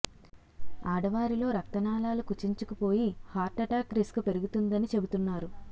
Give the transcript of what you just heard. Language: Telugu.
ఆడవారిలో రక్తనాళాలు కుచించుకుపోయి హార్ట్ ఎటాక్ రిస్క్ పెరుగుతుందని చెబుతున్నారు